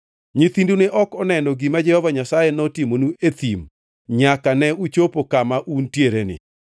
Nyithindu ne ok oneno gima Jehova Nyasaye notimonu e thim nyaka ne uchopo kama untiereni.